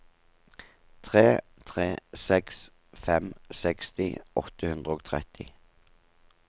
tre tre seks fem seksti åtte hundre og tretti